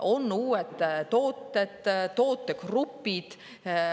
On uued tooted, tootegrupid.